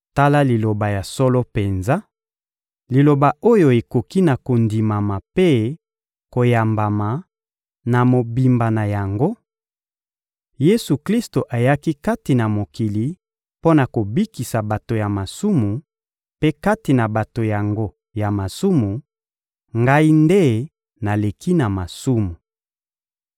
Tala liloba ya solo penza, liloba oyo ekoki na kondimama mpe koyambama na mobimba na yango: Yesu-Klisto ayaki kati na mokili mpo na kobikisa bato ya masumu; mpe kati na bato yango ya masumu, ngai nde naleki na masumu.